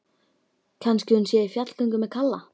Kannski hún sé í fjallgöngu með Kalla.